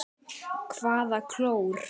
Hvaða klór?